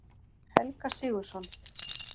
Helga Sigurðsson.